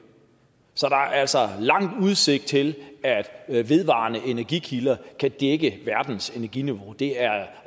så der er altså lang udsigt til at vedvarende energikilder kan dække verdens energiniveau det er